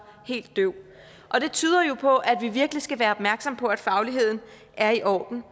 helt døv det tyder jo på at vi virkelig skal være opmærksomme på at fagligheden er i orden